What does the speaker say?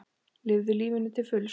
Lifðu lífinu til fulls!